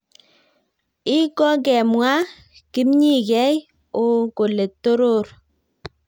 I kongemwa kipnyigei o kole toror